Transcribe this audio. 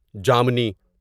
جامنی